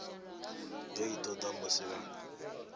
do i toda musi vha